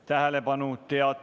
Tähelepanu!